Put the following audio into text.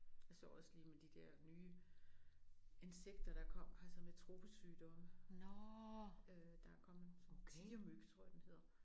Jeg så også lige med de der nye insekter der kom altså med tropesygdomme øh der er kommet sådan tigermyg tror jeg den hedder